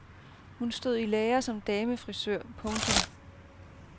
Hun stod i lære som damefrisør. punktum